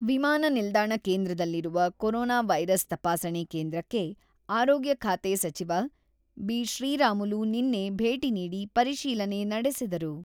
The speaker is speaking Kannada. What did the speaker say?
ವಿಮಾನ ನಿಲ್ದಾಣ ಕೇಂದ್ರದಲ್ಲಿರುವ ಕೊರೊನಾ ವೈರಸ್ ತಪಾಸಣೆ ಕೇಂದ್ರಕ್ಕೆ ಆರೋಗ್ಯ ಖಾತೆ ಸಚಿವ ಬಿ.ಶ್ರೀರಾಮುಲು ನಿನ್ನೆ ಭೇಟಿ ನೀಡಿ ಪರಿಶೀಲನೆ ನಡೆಸಿದರು.